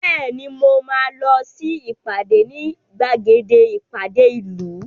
Bẹ́ẹ̀ni mo máa lọ sí ìpàdé ní gbàgede ìpàdé ìlú